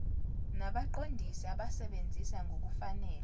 nabaqondisi abasebenzisa ngokungafanele